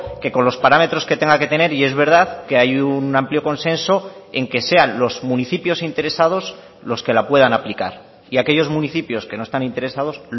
que con los parámetros que tenga que tener y es verdad que hay un amplio consenso en que sean los municipios interesados los que la puedan aplicar y aquellos municipios que no están interesados